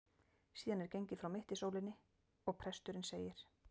Síðan er gengið frá mittisólinni, og presturinn segir